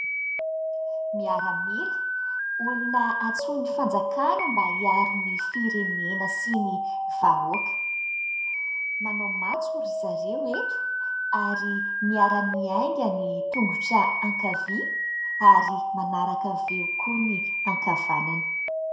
Miaramila, olona antsoin'ny fanjakana mba hiaro ny firenena sy ny vahoaka. Manao matso ry zareo eto, ary miara-miainga ny tongotra ankavia ary manaraka avy eo koa ny ankavanana.